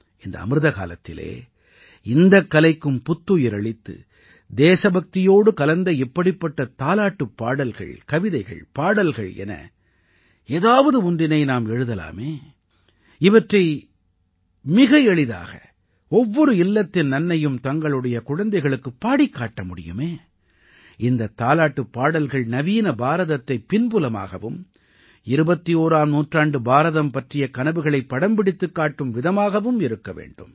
இந்த அமிர்த காலத்திலே இந்தக் கலைக்கும் புத்துயிர் அளித்து தேசபக்தியோடு கலந்த இப்படிப்பட்ட தாலாட்டுப் பாடல்கள் கவிதைகள் பாடல்கள் என ஏதாவது ஒன்றினை நாம் எழுதலாமே இவற்றை மிக எளிதாக ஒவ்வொரு இல்லத்தின் அன்னையும் தங்களுடைய குழந்தைகளுக்கு பாடிக்காட்ட முடியுமே இந்தத் தாலாட்டுப் பாடல்கள் நவீன பாரதத்தைப் பின்புலமாகவும் 21ஆம் நூற்றாண்டுப் பாரதம் பற்றிய கனவுகளை படம்பிடித்துக் காட்டும் விதமாகவும் இருக்க வேண்டும்